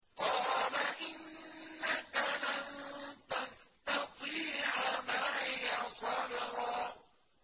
قَالَ إِنَّكَ لَن تَسْتَطِيعَ مَعِيَ صَبْرًا